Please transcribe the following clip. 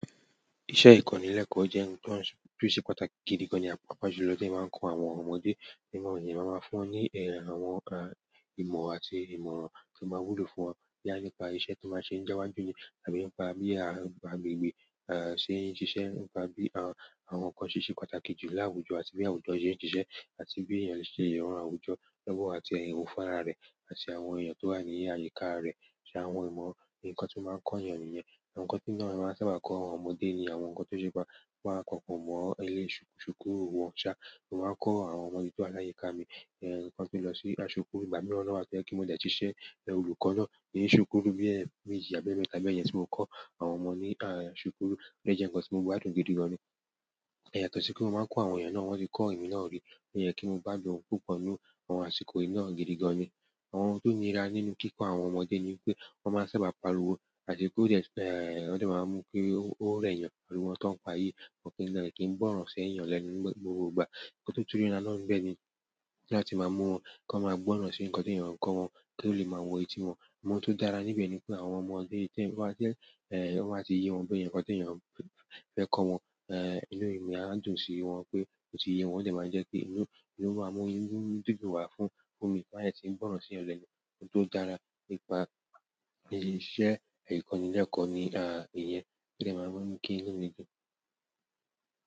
Iṣẹ́ ìkọ́nilẹ́kọ̀ọ́ jẹ́ ǹ tan tun ṣe pàtàkì gidi gan, papa ju lọ tí èèyàn bá ń kọ àwọn ọmọdé, nínú ìyìn màá máa fún wọn ní eh àwọn. Ìmọ̀ àti ìmọ̀ràn tó máa wúlò fún wọn nípa iṣẹ́ tí bá ṣe níjowájú ni tàbí nípa bí àgbegbé, sí ṣíṣe, nípa bí àwọn ǹ kan ṣe ṣe pàtàkì jù láwùjọ àti bí àwùjọ ṣe ń ṣiṣẹ́ àti bí èèyàn ṣe lè ran àwùjọ lọ́wọ́ àti ẹ̀yán fún ará rẹ̀ àti àwọn èèyàn tó wà ní àyíká rẹ̀ ṣe àwọn ìmọ̀, ǹ kan tí màá ń kọ èèyàn nìyẹn. Àwọn ǹ kan tí èmí na máa sábà kọ́ àwọn ọmọdé ni àwọn ǹ kan tó ṣe bá wọn kọ́ po mọ ilé ṣukú, ṣùkúù wọn ṣá, màá kọ́ àwọn ọmọ mi tó wà láyíká mi, ǹkan tí ó lọ sí aṣọ kú, ìgbà mìíràn na wá wọ́n wá to yé pé mo dé tí ṣẹ́ olùkọ́ náà, ní ṣùkúù bí ẹ́ méjì àbí emẹ́ta bẹ́ yẹn tí mò ń kọ́ àwọn ọmọ ní ṣùkúù dé jẹ ǹ kan tí mo gba dùn gidi gan ni. Yàtọ̀ sí pé mọ má n kọ àwọn èèyàn wọn tí kò èmi náà rí, oyè kin n gbádùn àsìkò púpọ̀ nínú àsìkò yìí púpọ̀ gidi gan ní. Àwọn ohun tó nira nínú kíkọ àwọn ọmọdé ni pé wọ́n máa sábà pariwo àti pé ọ dé ee, wọ́n dé máa mú pé ó rẹ̀ èèyàn, ariwo won to ń pa yí wọn kì lẹ kin gbórò sí èèyàn lẹ́nu gbogbo ìgbà. Òtútù rí náà ló ń bẹ́ ni láti máa mú wọn kọ máa gbọ́ràn sí ǹ kan tí èèyàn ń kọ wọn kí ó lè máa wọ etí wọn. Mo tun jára níbẹ̀ ni pé àwọn ọmọdé tí eyan bá ti. Ọ má ti yé wọn bẹ yen nkan tí èèyàn fẹ́ kọ wọn, inú èmi a dùn sí wọn pé ó ti yé wọn, ó dé máa jẹ́ pé inú, inú ma mú inú dúndún wá fún, fún mi ti ọ bá dé tí gbọ̀rán sí ẹ̀yán lẹ́nu. Ohun tó dára nípa iṣẹ́ ìkọ́nilẹ́kọ̀ọ́ ni a ìyẹn, ó dé màá máa kí inú mi dùn.